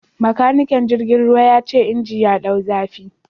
Makanikin jirgin ruwa ya ce inji ya dau zafi